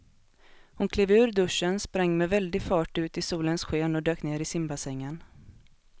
Hon klev ur duschen, sprang med väldig fart ut i solens sken och dök ner i simbassängen.